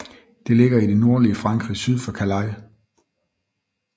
Det ligger i det nordlige Frankrig syd for Calais